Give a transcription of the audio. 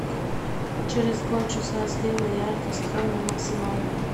через полчаса сделай яркость холл на максимальную